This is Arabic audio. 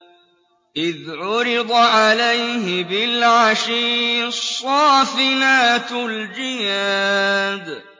إِذْ عُرِضَ عَلَيْهِ بِالْعَشِيِّ الصَّافِنَاتُ الْجِيَادُ